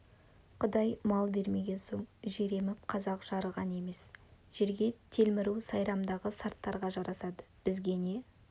құдай мал бермеген соң жер еміп қазақ жарыған емес жерге телміру сайрамдағы сарттарға жарасады бізге не